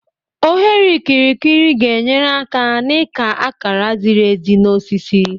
Oghere okirikiri ga-enyere aka n'ịka akara ziri ezi na osisi.